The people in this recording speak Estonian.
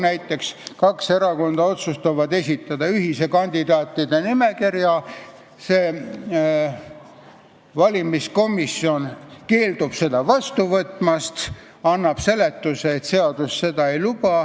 Näiteks otsustavad kaks erakonda esitada ühise kandidaatide nimekirja, valimiskomisjon keeldub seda vastu võtmast ja annab seletuse, et seadus seda ei luba.